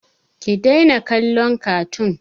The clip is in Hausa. Ki daina kallon katun!